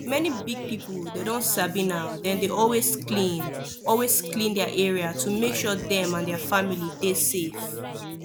many big people dem don sabi now dem dey always clean always clean their area to make sure say dem and their family dey safe